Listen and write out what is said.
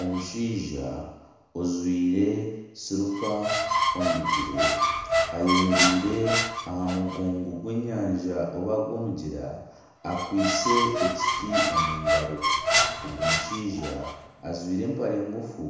Omushaija ojwire silipa omu bigyere, ayemereire aha mugongo gw'enyanja obo gw'omugyera, akwitse ekiti omu ngaro, ogu mushaija ajwire empare ngufu